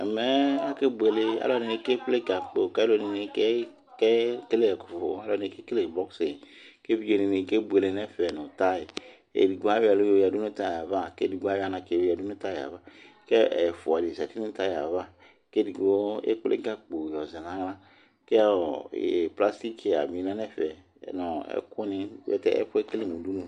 ɛmɛ akɛ bʋɛlɛ alɛdini kɛ kpɛlɛ gakpo kʋ alɛdini kɛ kɛlɛ ɛkʋfʋ kɛ kɛlɛ boxing kʋ evidze ni kɛ bʋɛlɛ nɛ fɛ nʋ tai ɛdigbo ayɔ ɛlʋ yɔ yɛdʋ nʋ tai aɣa kɛ ɛdigbo ayɔ anatsɛ yɔ yɛ dʋnʋ tai aɣa kɛ ɛfʋa di zɛti nʋ tai aɣa kʋ ɛdigbo ɛkpɛlɛ gakpo yɔ zɛ nala kɛ ɔɔ plastic chia bi lɛnɛfɛ nʋ ɛkʋni ɛkʋɛ ɛkɛlɛ mʋ ʋdʋnʋ